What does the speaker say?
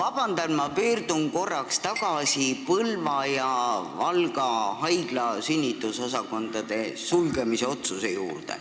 Vabandust, aga ma pöördun korraks tagasi Põlva ja Valga haigla sünnitusosakonna sulgemise otsuse juurde.